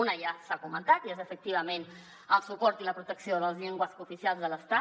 una ja s’ha comentat i és efectivament el suport i la protecció de les llengües cooficials de l’estat